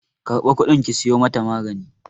Karba kudin ki siyo mata maganin!